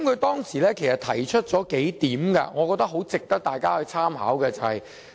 當時他提出了數點，我認為值得大家參考。